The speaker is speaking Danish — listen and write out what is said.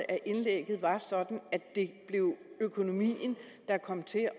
at indlægget var sådan at det blev økonomien der kom til